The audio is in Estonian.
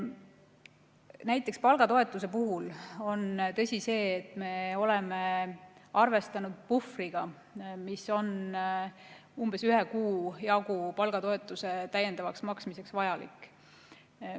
Näiteks palgatoetuse puhul on tõsi see, et me oleme arvestanud puhvriga, mis on umbes ühe kuu jagu palgatoetuse täiendavaks maksmiseks vajalik.